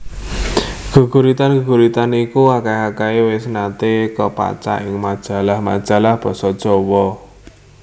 Geguritan geguritan iku akeh akehe wis nate kapacak ing majalah majalah basa Jawa